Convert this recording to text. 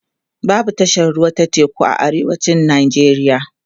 babu tashar ruwa ta teku a arewacin nigeria